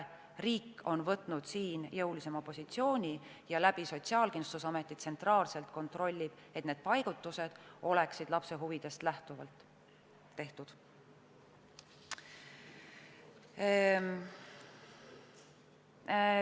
Riik on võtnud jõulisema positsiooni ja Sotsiaalkindlustusameti kaudu tsentraalselt kontrollib, et need paigutused oleksid lapse huvidest lähtuvalt tehtud.